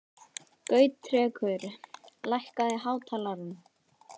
Gautrekur, lækkaðu í hátalaranum.